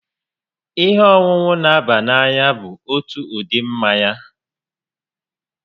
Ihe ọṅụṅụ n'aba n'anya bụ otu ụdị mmanya